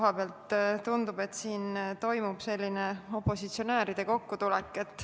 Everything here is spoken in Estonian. Mõnes mõttes tundub, et siin toimub opositsionääride kokkutulek.